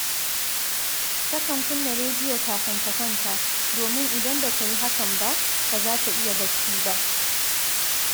Takan kunna rediyo kafin ta kwanta, domin idan ba ta yi hakan ba, ba za ta iya barci ba